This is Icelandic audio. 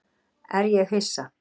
En er ég hissa?